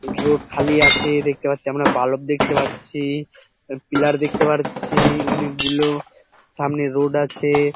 Road খালি আছে দেখতেপারছি আমরা বালক দেখতে পারছি পিলার দেখতে পারছি অনেক গুলো সামনে রোড আছে ।